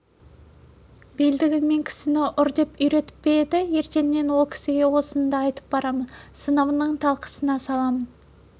белдігіңмен кісіні ұр деп үйретіп пе еді ертең ол кісіге осыныңды айтып барамын сыныбыңның талқысына саламын